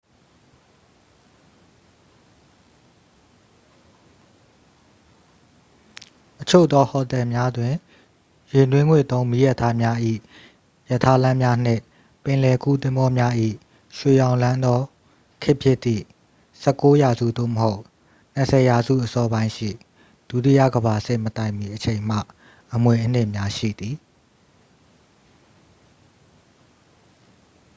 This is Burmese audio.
အချို့သောဟိုတယ်များတွင် ရေနွေးငွေ့သုံ းမီးရထားများ၏ ရထားလမ်းများနှင့် ပင်လယ်ကူးသင်္ဘောများ၏ ရွှေရောင်လွှမ်းသော ခေတ်ဖြစ်သည့် 19th ရာစု သို့မဟုတ် 20th ရာစုအစောပိုင်းရှိ ဒုတိယကမ္ဘာစစ်မတိုင်မီအချိန်မှ အမွေအနှစ်များရှိသည်